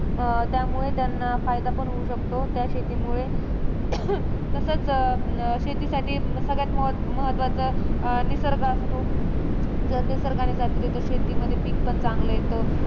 अं त्यामुळे त्यांना फायदा पण होऊ शकतो. त्या शेतीमुळे तसंच, अं शेतीसाठी सगळ्यात म महत्त्वाचं, निसर्ग असतो. जर निसर्गाने साथ दिली तर शेतीमध्ये पीक पण चांगलं येतं.